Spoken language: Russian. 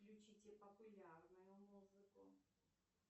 включите популярную музыку